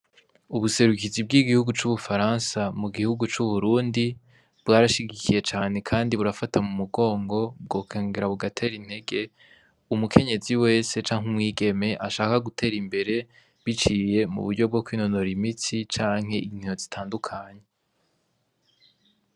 Ubuserukizi bw'igihugu c'ubufaransa mu gihugu c'uburundi bwarashigikiye cane, kandi burafata mu mugongo bwokangera bugatera intege umukenyezi wese canke umwigeme ashaka gutera imbere biciye mu buryo bwo kwinonoro imitsi canke intino zitandukanye.